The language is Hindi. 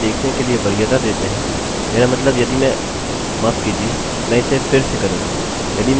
फिर भी यदि आप इसे देखने के लिए वरीयता देते हैं मेरा मतलब यदि मैं माफ़ कीजिये मैं इसे फिर से करूँगा